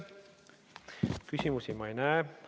Küsimusi ma ei näe.